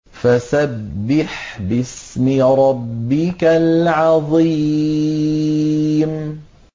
فَسَبِّحْ بِاسْمِ رَبِّكَ الْعَظِيمِ